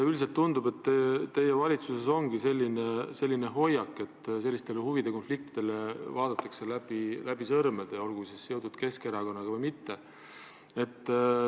Üldiselt tundub, et teie valitsuses ongi selline hoiak, et huvide konfliktidele vaadatakse läbi sõrmede, olgu need seotud Keskerakonnaga või mitte.